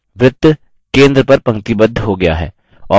वृत्त centre पर पंक्तिबद्ध हो गया है